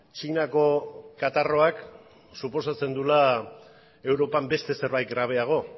txinako katarroak suposatzen duela europan beste zerbait grabeago